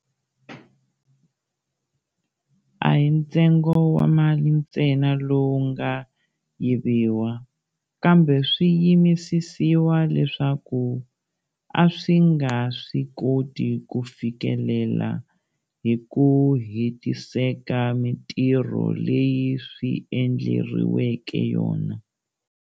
A hi ntsengo wa mali ntsena lowu nga yiviwa, kambe swiyimisisiwa leswi a swi nga swi koti ku fikelela hi ku hetiseka mitirho leyi swi endleriweke yona.